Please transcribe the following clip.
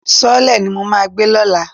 Sọ́ọ́lẹ̀ ni mo máa gbé lọ́la.